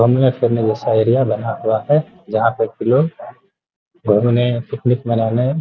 घूमने फिरने जैसा एरिया बना हुआ है | जहाँ पे कि लोग घूमने पिकनिक मनाने --